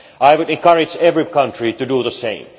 I would encourage every country to do the same.